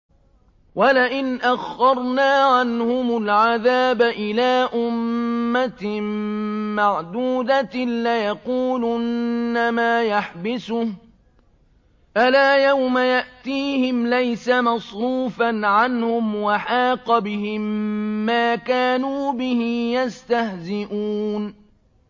وَلَئِنْ أَخَّرْنَا عَنْهُمُ الْعَذَابَ إِلَىٰ أُمَّةٍ مَّعْدُودَةٍ لَّيَقُولُنَّ مَا يَحْبِسُهُ ۗ أَلَا يَوْمَ يَأْتِيهِمْ لَيْسَ مَصْرُوفًا عَنْهُمْ وَحَاقَ بِهِم مَّا كَانُوا بِهِ يَسْتَهْزِئُونَ